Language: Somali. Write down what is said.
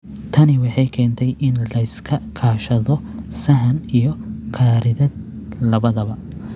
Tani waxay keentay in la iska kaashado sahan iyo khariidad labadaba.